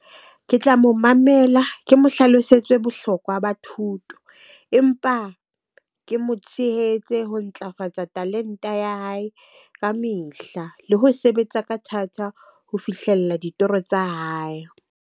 Ke tla mo mamela ke mo hlalosetse bohlokwa ba thuto empa ke mo tshehetse ho ntlafatsa talente ya hae kamehla le ho sebetsa ka thata ho fihlella ditoro tsa hae.